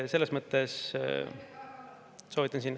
Selles mõttes soovitan.